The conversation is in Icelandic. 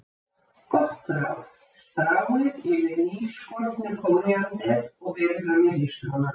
Gott ráð: Stráið yfir nýskornu kóríander og berið fram með hrísgrjónum.